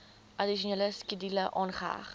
addisionele skedule aangeheg